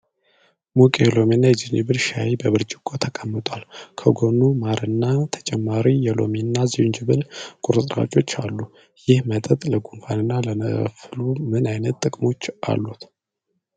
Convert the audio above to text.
ሙቅ የሎሚና የዝንጅብል ሻይ በብርጭቆ ተቀምጧል፤ ከጎኑ ማርና ተጨማሪ የሎሚና ዝንጅብል ቁርጥራጮች አሉ። ይህ መጠጥ ለጉንፋንና ለፍሉ ምን ዓይነት ጥቅሞች አሉት?